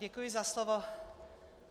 Děkuji za slovo.